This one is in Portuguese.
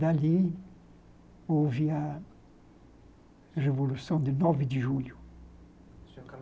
Dali houve a Revolução de nove de julho.